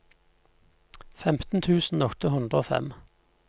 femten tusen åtte hundre og fem